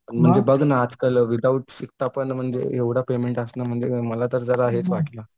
म्हणजे बघ ना आजकाल विदाऊट शिकता पण म्हणजे एवढं पेमेंट असणं म्हणजे मला तर हेच वाटलं.